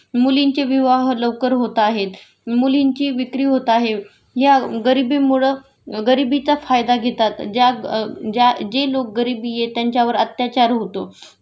मुलींचे विवाह लवकर होताहेत, मुलींची विक्री होत आहे.या गरिबीमूळ गरिबीचा फायदा घेतात.ज्या ज्या जे लोक गरिबी आहेत त्यांच्यावर अत्याचार होतो पण होतायत